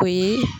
O ye